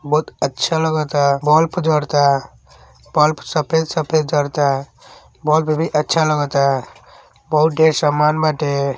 बहुत अच्छा लगता। बल्फ जरता। बल्फ सफ़ेद सफ़ेद जरता। बल्फ भी अच्छा लगता। बहुत ढेर सामान बाटे। बहुत अच्छा लगता।